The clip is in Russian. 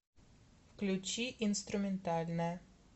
включи инструментальная